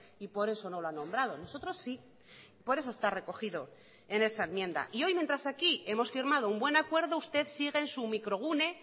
y por eso no lo ha nombrado nosotros sí por eso está recogido en esa enmienda y hoy mientras aquí hemos firmado un buen acuerdo usted sigue en su microgune